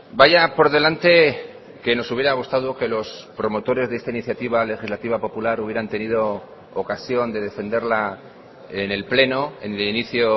vaya por delante que nos hubiera gustado que los promotores de esta iniciativa legislativa popular hubieran tenido ocasión de defenderla en el pleno en el inicio